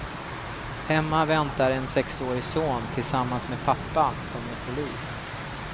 Hemma väntar en sexårig son tillsammans med pappan, som är polis.